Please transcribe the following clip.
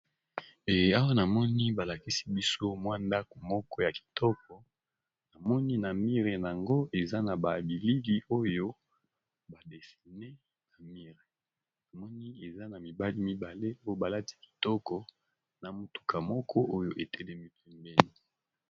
E awa namoni balakisi biso mwa ndako moko ya kitoko namoni na mire yango eza na babiligi oyo badesine na mire namoni eza na mibali mibale po balati kitoko na motuka moko oyo etelemi pembeni.